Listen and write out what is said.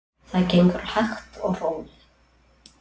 Það gengur hægt og rólega.